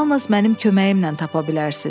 Yalnız mənim köməyimlə tapa bilərsiz.